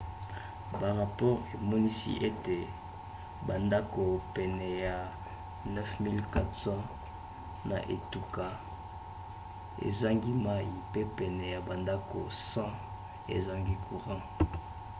barapore emonisi ete bandako pene ya 9400 na etuka ezangi mai mpe pene ya bandako 100 ezangi courant